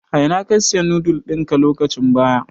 A ina ka Siya noodles ɗinka lokacin baya.